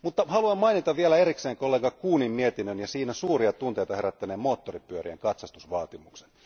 Haluan mainita vielä erikseen kollega Kuhnin mietinnön ja siinä suuria tunteita herättäneen moottoripyörien katsastusvaatimuksen.